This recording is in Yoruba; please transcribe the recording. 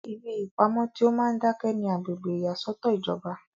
ibi ìpamọ tí ó máa ń dákẹ́ ni agbègbè ìyàsọ́tọ̀ ìjọba